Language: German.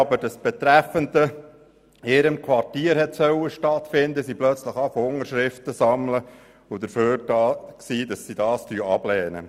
Hätte das Betreffende in ihrem Quartier stattfinden sollen, begannen sie Unterschriften zu sammeln für die Ablehnung.